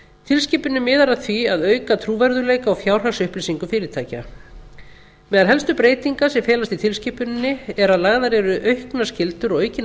tilskipunin miðar að því að auka trúverðugleika á fjárhagsupplýsingum fyrirtækja meðal helstu breytinga sem felast í tilskipuninni er að lagðar eru auknar skyldur og aukin